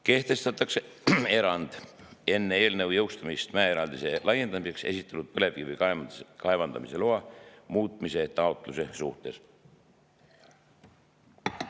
Kehtestatakse erand enne eelnõu jõustumist mäeeraldise laiendamiseks esitatud põlevkivi kaevandamise loa muutmise taotluste suhtes, kui taotlus on [esitatud mäeeraldisega piirneva ala kohta ja loa kehtivusaega ei pikendata.